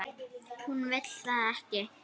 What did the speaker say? Hún vill það ekki.